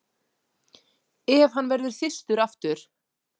Ef hann verður þyrstur aftur.